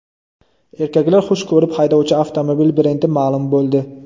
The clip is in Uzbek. Erkaklar xush ko‘rib haydovchi avtomobil brendi ma’lum bo‘ldi.